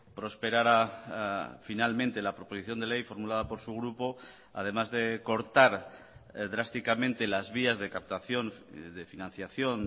prosperara finalmente la proposición de ley formulada por su grupo además de cortar drásticamente las vías de captación de financiación